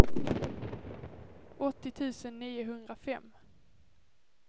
åttio tusen niohundrafem